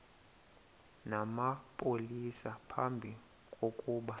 namapolisa phambi kokuba